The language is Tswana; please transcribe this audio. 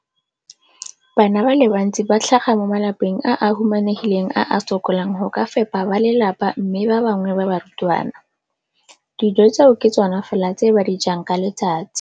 Bana ba le bantsi ba tlhaga mo malapeng a a humanegileng a a sokolang go ka fepa ba lelapa mme ba bangwe ba barutwana, dijo tseo ke tsona fela tse ba di jang ka letsatsi.